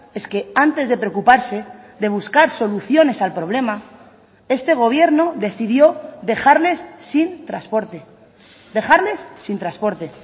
es que antes de preocuparse de buscar soluciones al problema este gobierno decidió dejarles sin transporte dejarles sin transporte